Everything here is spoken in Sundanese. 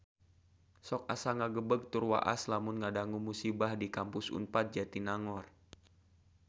Sok asa ngagebeg tur waas lamun ngadangu musibah di Kampus Unpad Jatinangor